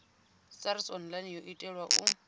sars online yo itelwa u